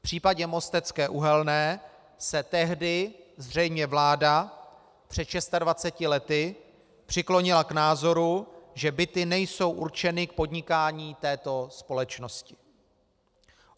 V případě Mostecké uhelné se tehdy zřejmě vláda před 26 lety přiklonila k názoru, že byty nejsou určeny k podnikání této společnosti.